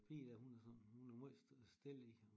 Pige dér hun er sådan hun er måj stille